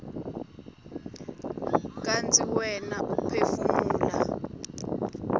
kantsi wena uphefumula